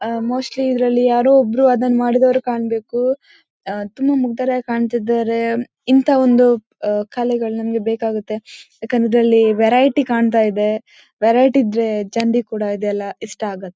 ಆ ಮೋಸ್ಟ್ಲಿ ಇದರಲ್ಲಿ ಯಾರೋ ಒಬ್ಬರು ಅದನ್ನು ಮಾಡಿದವರು ಕಾಣಬೇಕು ಆ ತುಂಬಾ ಮುಗ್ದರಾಗೆ ಕಾಣ್ತಯಿದ್ದರೆ ಇಂಥ ಒಂದು ಆ ಕಲೆಗಳು ನಮಗೆ ಬೇಕಾಗುತ್ತೆ ಯಾಕಂದ್ರೆ ಅದರಲ್ಲಿ ವೆರೈಟಿ ಕಾಣ್ತಯಿದೆ ವೆರೈಟಿ ಇದ್ರೆ ಜನರಿಗೆ ಕೊಡ ಇದೆಲ್ಲಾ ಇಷ್ಟ ಆಗುತ್ತೆ.